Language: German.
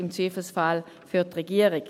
Im Zweifelsfall für die Regierung.